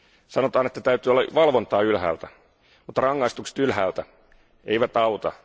Sanotaan, että täytyy olla valvontaa ylhäältä, mutta rangaistukset ylhäältä eivät auta.